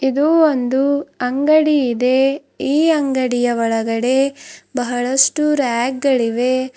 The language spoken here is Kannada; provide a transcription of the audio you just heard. ಇದು ಒಂದು ಅಂಗಡಿ ಇದೆ ಈ ಅಂಗಡಿಯ ಒಳಗಡೆ ಬಹಳಷ್ಟು ರ್ಯಾಕ್ ಗಳಿವೆ.